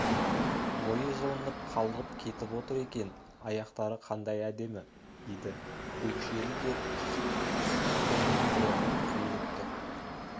бойы жылынып қалғып кетіп отыр екен аяқтары қандай әдемі еді өкшелі де үсітті белтірлігі қиылып тұр